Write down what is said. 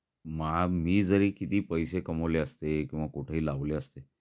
मा मी जरी किती पैसे कमवले असते किंवा कुठेही लावले असते